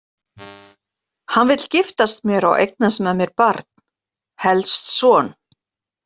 Hann vill giftast mér og eignast með mér barn, helst son.